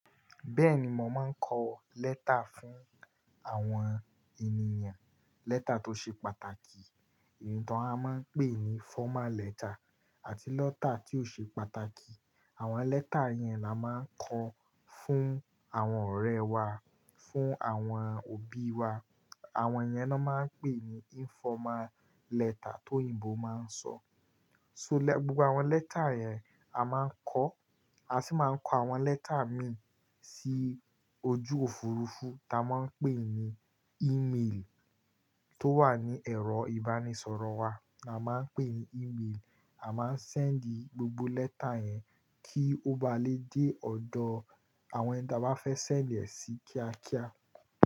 Bẹ́ẹ̀ni, mo máa ń kọ lẹ́tà fún àwọn ènìyàn. Lẹ́tà tó ṣe pàtàkì, èyí tó a máa ń pè ní fọ́mál lẹ́tà àti lọ́tà tí ó ṣe pàtàkì. Àwọn lẹ́tà yẹn la máa ń kọ fún àwọn ọ̀rẹ́ wa, fún àwọn òbí wa. Àwọn yẹn la máa ń pè ní informal lẹ́tà tó òyìnbó máa ń sọ. So, gbogbo àwọn lẹ́tà yẹn a máa ń kọ, a sì máa ń kọ àwọn lẹ́tà mi sí ojú òfurufú tá a máa ń pè ní email tó wà ní ẹ̀rọ ìbánisọ̀rọ̀ wa, náà máa ń pè ní email. A máa ń send gbogbo lẹ́tà yẹn kí ó ba lè dé ọ̀dọ̀ àwọn ẹni táa bá fẹ́ sẹ̀ lẹ́ẹ̀sì kíákíá.